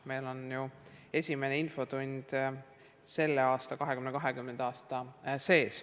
Meil on ju esimene infotund sellel, 2020. aastal.